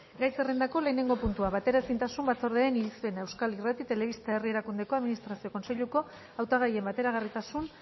gai zerrendako lehenengo puntua bateraezintasun batzordearen irizpena euskal irrati telebista herri erakundeko administrazio kontseiluko hautagaien bateragarritasun